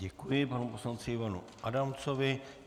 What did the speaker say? Děkuji panu poslanci Ivanu Adamcovi.